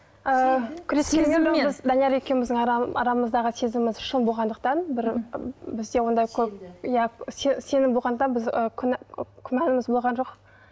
ыыы данияр екеуміздің арамыздағы сезіміміз шын болғандықтан бір бізде ондай көп иә сенім болғандықтан біз күмәніміз болған жоқ